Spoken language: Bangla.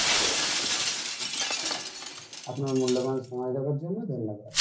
আপনার মূল্যবান সময় দেওয়ার জন্য ধন্যবাদ